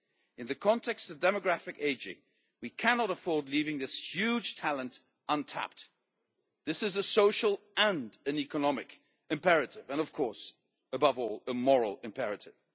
In the context of demographic aging, we cannot afford to leave this huge talent untapped. This is a social and an economic imperative and of course, above all, a moral imperative.